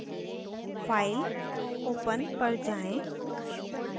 file open पर जाएँ